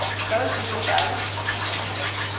Så vil vi ud at sejle.